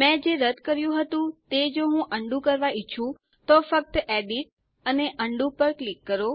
મેં જે રદ કર્યું હતું તે જો હું અન્ડું કરવા ઈચ્છું તો ફક્ત એડિટ અને ઉંડો પર ક્લિક કરો